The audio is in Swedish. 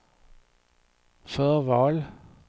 förval